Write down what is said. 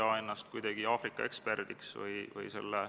Ma palun ettekandjaks riigikaitsekomisjoni liikme Madis Millingu.